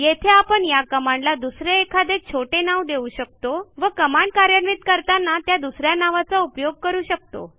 येथे आपण या कमांडला दुसरे एखादे छोटे नाव देऊ शकतो व कमांड कार्यान्वित करताना त्या दुस या नावाचा उपयोग करू शकतो